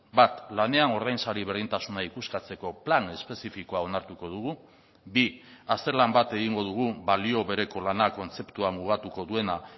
bat lanean ordainsari berdintasuna ikuskatzeko plan espezifikoa onartuko dugu bi azterlan bat egingo dugu balio bereko lana kontzeptua mugatuko duena